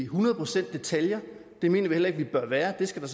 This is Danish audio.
hundrede procent i detaljer det mener vi heller ikke det bør være det skal der